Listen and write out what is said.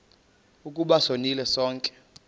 ukuba sonile sonke